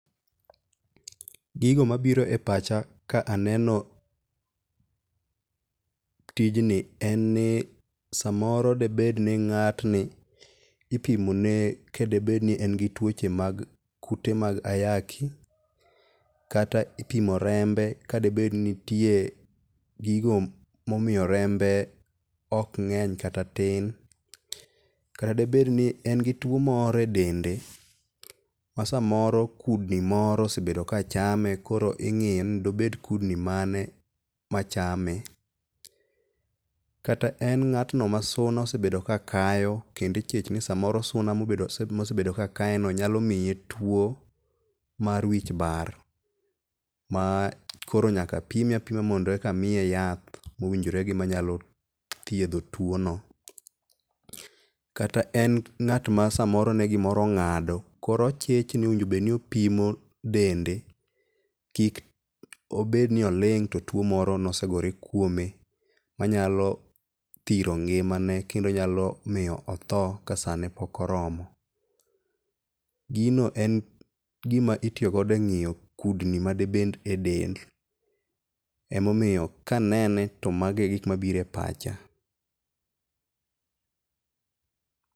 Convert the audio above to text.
Gigo mabiro e pacha ka aneno tijni en ni samoro debedni ng'atni ipimone kadobed ni en gi tuoche mag kute mag ayaki, kata ipimo rembe kadebed ni nitie gigo momiyo rembe ok ng'eny kata tin. Kata debed ni en gi tuo moro e dende ma samoro kudni moro osebedo kachame koro ing'iyo ni dobed kudni mane machame. Kata en ng'atno ma suna osedo kakayo kendo ichich ni suna mosebedo kakayeno nyalo miye tuo mar wich bar ma koro nyaka pime apima mondo eka miye yath mowinjore gi manyalo thiedho tuono. Kata en ng'at ma samoro ne gimoro ong'ado, koro ochich ni owinjo bed ni opimo dende kik bed ni oling' to tuo moro ne osegore kuome manyalo thiro ngimane kendo nyalo otho kasane pok oromo. Gino en gima itiyogo eng'iyo kudni ma dibed edel, emomiyo kanene to mago e gik manbiro e pacha.